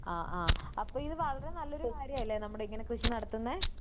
ആ ആ അപ്പൊ ഇത് വളരെ നല്ലൊരു കാര്യാലെ നമ്മളിങ്ങനെ കൃഷി നടത്തുന്നെ?